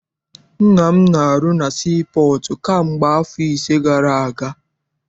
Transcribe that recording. Nna m na- arụ na sii pọọtụ kamgbe afọ ise gara aga.